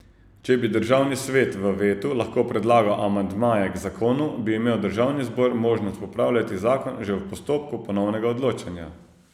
Če bi Državni svet v vetu lahko predlagal amandmaje k zakonu, bi imel Državni zbor možnost popravljati zakon že v postopku ponovnega odločanja.